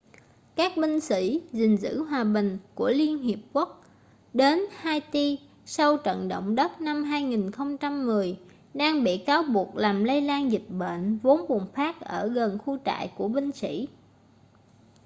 các binh sĩ gìn giữ hòa bình của liên hiệp quốc đến haiti sau trận động đất năm 2010 đang bị cáo buộc làm lây lan dịch bệnh vốn bùng phát ở gần khu trại của binh sĩ